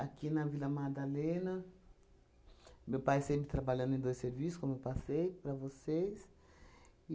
Aqui na Vila Madalena, meu pai sempre trabalhando em dois serviços, como eu passei para vocês.